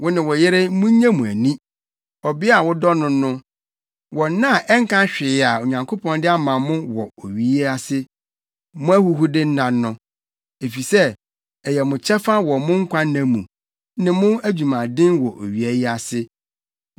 Wo ne wo yere, munnye mo ani, ɔbea a wodɔ no no, wɔ nna a ɛnka hwee a Onyankopɔn de ama mo wɔ owia yi ase, mo ahuhude nna no. Efisɛ ɛyɛ mo kyɛfa wɔ mo nkwanna mu, ne mo adwumaden wɔ owia yi ase.